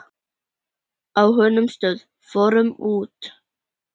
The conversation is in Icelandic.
Á honum stóð: Fórum út!